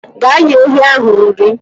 Gaa nye ehi ahụ nri.